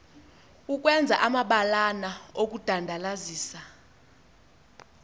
ukwenza amabalana okudandalazisa